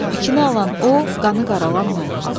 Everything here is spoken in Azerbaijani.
İki alan o, qanı qaralan mən.